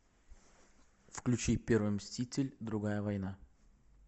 включи первый мститель другая война